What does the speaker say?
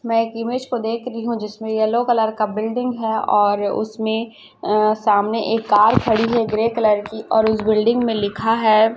मैं एक इमेज को देख री हूं जिसमें येलो कलर का बिल्डिंग है और उसमें अ सामने एक कार खड़ी है ग्रे कलर की और उस बिल्डिंग में लिखा है।